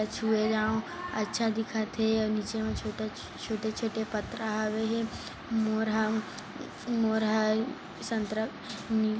छुए जाव अच्छा दिखत हे अउ नीचे म छोटा छोटे-छोटे पथरा हावे हे मोर ह मोर ह अ उम्म संतरा नि --